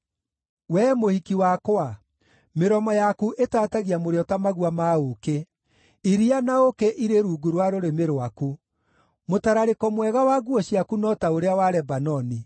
Wee mũhiki wakwa, mĩromo yaku ĩtaatagia mũrĩo ta magua ma ũũkĩ; iria na ũũkĩ irĩ rungu rwa rũrĩmĩ rwaku. Mũtararĩko mwega wa nguo ciaku no ta ũrĩa wa Lebanoni.